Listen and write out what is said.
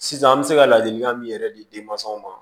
Sisan an bɛ se ka ladilikan min yɛrɛ di denmasaw ma